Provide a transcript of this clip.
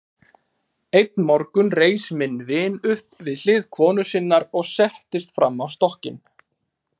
Einn morgun reis minn vin upp við hlið konu sinnar og settist framan á stokkinn.